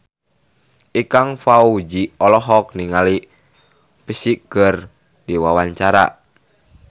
Ikang Fawzi olohok ningali Psy keur diwawancara